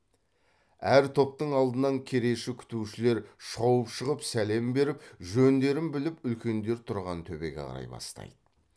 әр топтың алдынан кереші күтушілер шауып шығып сәлем беріп жөндерін біліп үлкендер тұрған төбеге қарай бастайды